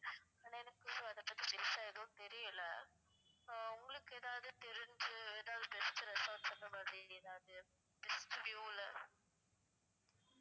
ஆனா எனக்கு ஒன்னும் அதபத்தி பெருசா எதுவும் தெரியல ஆஹ் உங்களுக்கு எதாவது தெரிஞ்சி எதாவது best resorts அந்த மாதிரி எதாவது best view ல